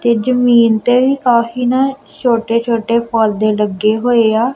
ਤੇ ਜਮੀਨ ਤੇ ਵੀ ਕਾਫੀ ਨਾ ਛੋਟੇ-ਛੋਟੇ ਪੌਧੇ ਲੱਗੇ ਹੋਏਆ।